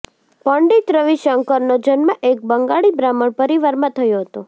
પંડિત રવિ શંકરનો જન્મ એક બંગાળી બ્રાહ્મણ પરિવારમાં થયો હતો